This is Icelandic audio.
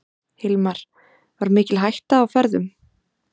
Hilmar: Var mikil hætta á ferðum?